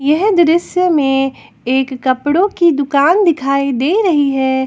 यह दृश्य में एक कपड़ो की दुकान दिखाई दे रही है।